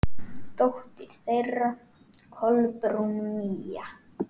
Dóttir þeirra: Kolbrún Mía.